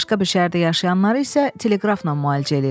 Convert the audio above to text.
Başqa bir şəhərdə yaşayanları isə teleqrafla müalicə eləyir.